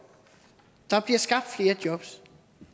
der skabt flere jobs